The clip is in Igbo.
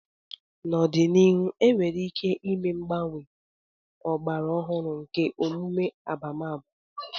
N'ọdịnihu, enwere ike ịme mgbanwe ọgbara ọhụrụ nke emume abamaba.